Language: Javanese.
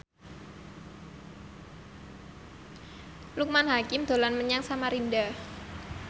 Loekman Hakim dolan menyang Samarinda